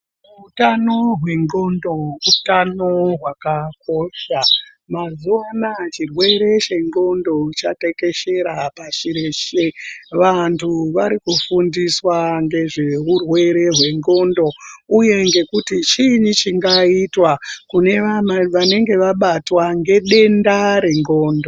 Utano hwendxondo utano hwakakosha mazuwa ano chirwere chendxondo chatekeshera pashi reshe vantu vari kufundiswa ngezve urwere hwendxondo uye ngekuti chiini chingaitwa kunevana vanenge vabatwa ngedenda rendxondo.